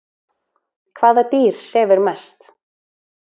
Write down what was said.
Hvaða dýr sefur mest?